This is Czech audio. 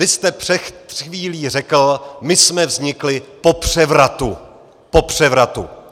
Vy jste před chvílí řekl - my jsme vznikli po převratu - po převratu!